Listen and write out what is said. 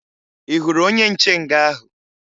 Ị hụrụ onye nche nga ahụ?